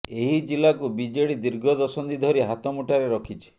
ଏହି ଜିଲ୍ଲାକୁ ବିଜେଡ଼ି ଦୀର୍ଘ ଦଶନ୍ଧି ଧରି ହାତମୁଠାରେ ରଖିଛି